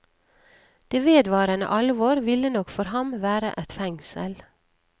Det vedvarende alvor ville nok for ham være et fengsel.